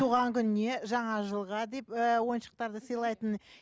туған күніне жаңа жылға деп ііі ойыншықтарды сыйлайтын